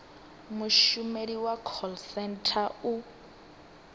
mushumeli wa call centre u